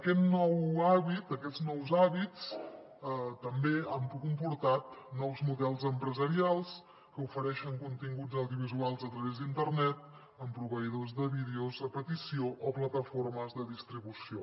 aquests nous hàbits també han comportat nous models empresarials que ofereixen continguts audiovisuals a través d’internet amb proveïdors de vídeos a petició o plataformes de distribució